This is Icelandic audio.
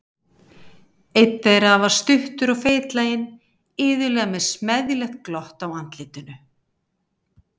Einn þeirra var stuttur og feitlaginn, iðulega með smeðjulegt glott á andlitinu.